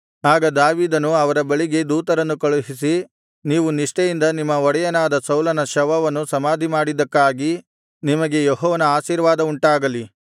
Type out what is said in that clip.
ಆಗ ದಾವೀದನು ಅವರ ಬಳಿಗೆ ದೂತರನ್ನು ಕಳುಹಿಸಿ ನೀವು ನಿಷ್ಠೆಯಿಂದ ನಿಮ್ಮ ಒಡೆಯನಾದ ಸೌಲನ ಶವವನ್ನು ಸಮಾಧಿ ಮಾಡಿದ್ದಕ್ಕಾಗಿ ನಿಮಗೆ ಯೆಹೋವನ ಆಶೀರ್ವಾದವುಂಟಾಗಲಿ